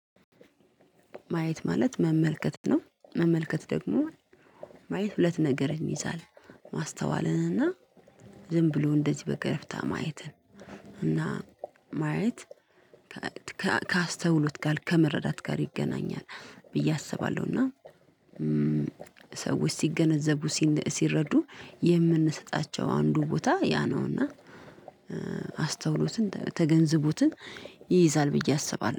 ማየት ማለት መመልከት ነው መመልከት ደግሞ ማየት ሁለት ነገርን ይይዛል ማስተዋልን እና ዝም ብሎ እንደዚህ በገረፍታ ማየትን እና ማየት ከአስተውሎት ጋር ከመረዳት ጋር ይገናኛል ብዬ አስባለሁ። እና ሰዎች ሲገነዘቡ ሲረዱ የምንሰጣቸው አንዱ ቦታ ያ ነውና አስተውሎትን ተገንዝቦትን ይይዛል ብዬ አስባለሁ